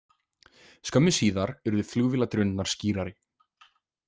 Skömmu síðar urðu flugvéladrunurnar skýrari.